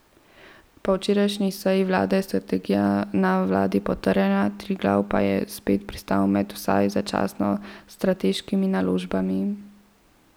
Po včerajšnji seji vlade je strategija na vladi potrjena, Triglav pa je spet pristal med vsaj začasno strateškimi naložbami.